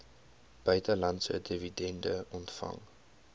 buitelandse dividende ontvang